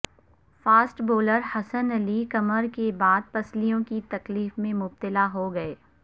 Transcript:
fast bowler Hasan Ali کمر کے بعد پسلیوں کی تکلیف میں مبتلا ہو گئے